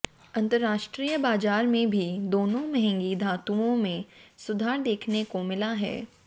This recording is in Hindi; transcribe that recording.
अंतरराष्ट्रीय बाजार में भी दोनों महंगी धातुओं में सुधार देखने को मिला है